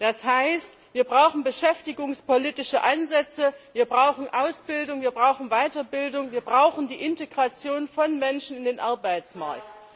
Das heißt, wir brauchen beschäftigungspolitische Ansätze, wir brauchen Ausbildung, wir brauchen Weiterbildung, wir brauchen die Integration von Menschen in den Arbeitsmarkt.